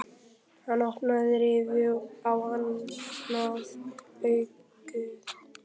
Hann opnaði rifu á annað augað.